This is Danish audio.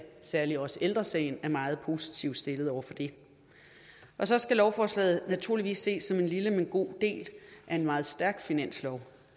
særligt også ældre sagen er meget positiv stemt over for det og så skal lovforslaget naturligvis ses som en lille men god del af en meget stærk finanslov